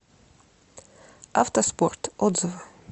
автоспорт отзывы